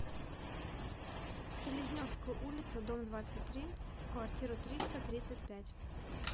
селезневскую улицу дом двадцать три в квартиру триста тридцать пять